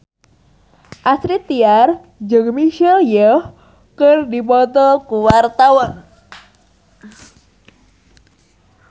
Astrid Tiar jeung Michelle Yeoh keur dipoto ku wartawan